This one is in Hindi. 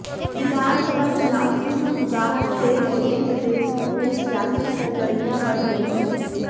विधानसभा चुनाव की सुगबुगाहट तेज होते ही प्रदेश में सियासी सरगर्मियां बढ़ गई हैं